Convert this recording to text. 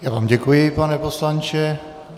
Já vám děkuji, pane poslanče.